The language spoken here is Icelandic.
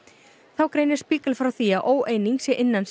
þá greinir Spiegel frá því að óeining sé innan